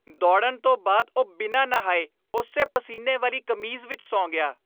ਦੌੜਨ ਤੋਂ ਬਾਅਦ ਉਹ ਬਿਨਾਂ ਨਹਾਏ ਉਸੇ ਪਸੀਨੇ ਵਾਲੀ ਕਮੀਜ਼ ਵਿੱਚ ਸੌਂ ਗਿਆ।